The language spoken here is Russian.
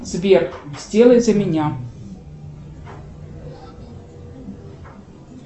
сбер сделай за меня